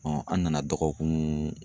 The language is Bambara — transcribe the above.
an nana dɔgɔkun